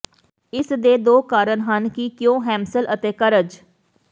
ਇਸ ਦੇ ਦੋ ਕਾਰਨ ਹਨ ਕਿ ਕਿਉਂ ਹੈਮਸਲ ਅਤੇ ਕਰਜ